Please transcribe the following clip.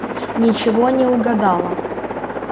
ничего не угадала